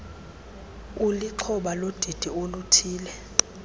ulixhoba lodidi oluthile